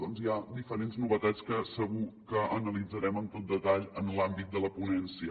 doncs hi ha diferents novetats que segur que analitzarem amb tot detall en l’àmbit de la ponència